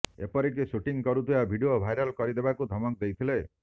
ଏପରିକି ସୁଟିଂ କରିଥିବା video viral କରିଦେବାକୁ ଧମକ ଦେଇଥିଲେ